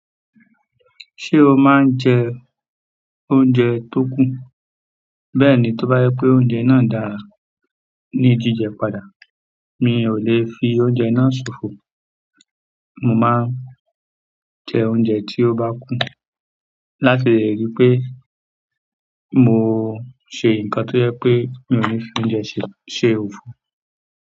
Ṣé o máa ń jẹ oúnjẹ tó kún? Bẹ́ẹ̀ni, t'ó bá jẹ́ pé oúnjẹ náà dára ní jíjẹ padà. Mi ò lè fi oúnjẹ náà ṣòfò. Mo máa ń jẹ oúnjẹ tí ó bá kù, láti lè ríi pé mo ṣe nǹkan tó jẹ́ pé mi ò ní fi oúnjẹ ṣe—ṣe òfò.